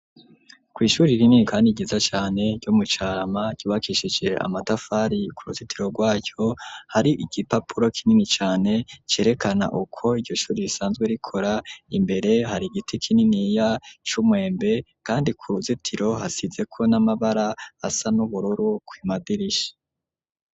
Kw'ishure rini kandi ryiza cane ryo mucarama c'ubakishije amatafari ku ruzitiro rwaco hari igipapuro kinini cane cerekana uko iyo shure risanzwe rikora imbere hari igiti kinini ya c'umwembe kandi ku ruzitiro hasizeko n'amabara asa n'ubururu kumadirishi.